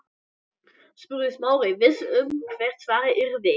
spurði Smári, viss um hvert svarið yrði.